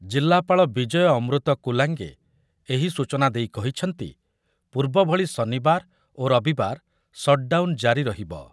ଜିଲ୍ଲାପାଳ ବିଜୟ ଅମୃତ କୁଲାଙ୍ଗେ ଏହି ସୂଚନା ଦେଇ ଦଇ କହିଛନ୍ତି, ପୂର୍ବଭଳି ଶନିବାର ଓ ରବିବାର ସର୍ଟଡାଉନ୍ ଜାରି ରହିବ ।